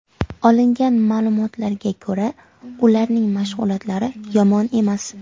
Olingan ma’lumotlarga ko‘ra, ularning mashg‘ulotlari yomon emas.